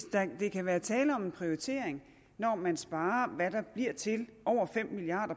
der kan være tale om en prioritering når man sparer hvad der bliver til over fem milliard